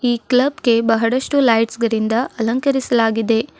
ಈ ಕ್ಲಬ್ಗೆ ಬಹಳಷ್ಟು ಲೈಟ್ಸ್ ಗಳಿಂದ ಅಲಂಕರಿಸಲಾಗಿದೆ.